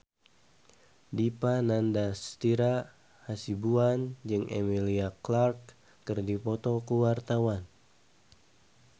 Dipa Nandastyra Hasibuan jeung Emilia Clarke keur dipoto ku wartawan